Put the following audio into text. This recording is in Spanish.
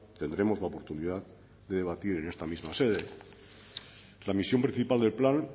tendremos la oportunidad de debatir en esta misma sede la misión principal del plan